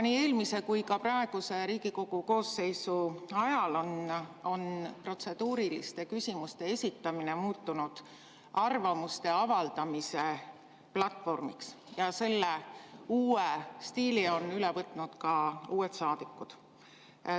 Nii eelmise kui ka praeguse Riigikogu koosseisu ajal on protseduuriliste küsimuste esitamine muutunud arvamuste avaldamise platvormiks ja selle uue stiili on üle võtnud ka uued saadikud.